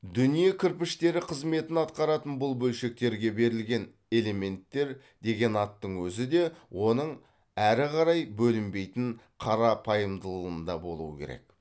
дүние кірпіштері қызметін атқаратын бұл бөлшектерге берілген элементтер деген аттың өзі де оның әрі қарай бөлінбейтін қарапайымдылында болуы керек